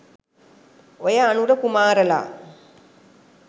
ඔය අනුර කුමාරලා